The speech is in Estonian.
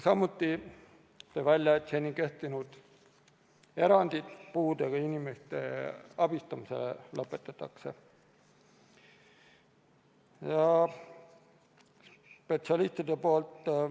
Samuti tõi ta välja, et seni kehtinud eranditest puudega inimeste abistamise kohta loobutakse.